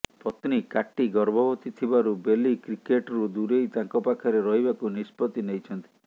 ପତ୍ନୀ କାଟି ଗର୍ଭବତୀ ଥିବାରୁ ବେଲି କ୍ରିକେଟ୍ରୁ ଦୂରେଇ ତାଙ୍କ ପାଖରେ ରହିବାକୁ ନିଷ୍ପତ୍ତି ନେଇଛନ୍ତି